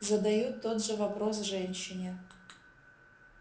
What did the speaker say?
задаю тот же вопрос женщине